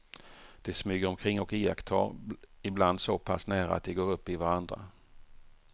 De smyger omkring och iakttar, ibland så pass nära att de går upp i varandra.